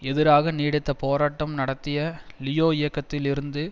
எதிராக நீடித்த போராட்டம் நடத்திய லியோ இயக்கத்தில் இருந்து